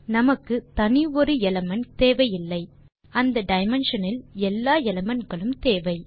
நமக்கு தனி ஒரு எலிமெண்ட் தேவையில்லை அந்த டைமென்ஷன் இல் எல்லா எலிமெண்ட் களும் தேவை